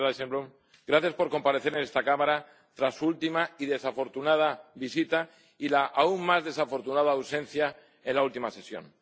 Señor Dijsselbloem, gracias por comparecer en esta Cámara tras su última y desafortunada visita y la aún más desafortunada ausencia en la última sesión.